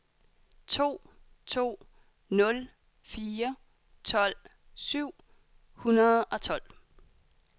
to to nul fire tolv syv hundrede og tolv